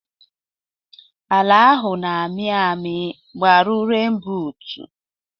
Ala ahụ na amị ami, gbaru ren bụtu